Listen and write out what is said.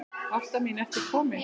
Ásta mín ertu komin?